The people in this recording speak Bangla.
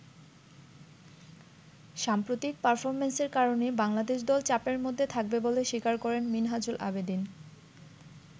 সাম্প্রতিক পারফর্মেন্সের কারণে বাংলাদেশ দল চাপের মধ্যে থাকবে বলে স্বীকার করেন মিনহাজুল আবেদীন।